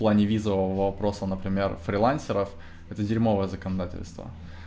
в плане визового вопроса например фрилансеров это дерьмовое законодательство